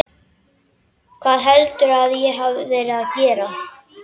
Hvað heldurðu að ég hafi verið að gera?